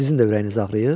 Sizin də ürəyiniz ağrıyır?